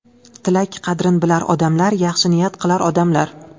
Tilak qadrin bilar odamlar, Yaxshi niyat qilar odamlar.